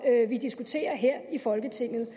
vi diskuterer her i folketinget